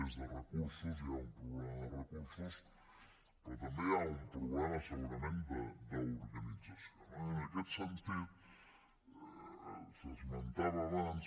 és de recursos hi ha un problema de recursos però també hi ha un problema segurament d’organització no i en aquest sentit s’esmentava abans